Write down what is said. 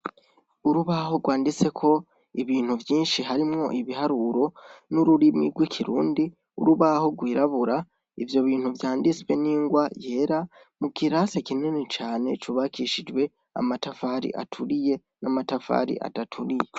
Urubaho rwanditseko ibintu vyinshi harimwo ibiharuro n'ururimi rw'ikirundi , urubaho rwirabura ivyo bintu vyanditswe n'ingwa yeta mu kirasi kini cane cubakishijwe amatafari aturiye n'amatafari adaturiye.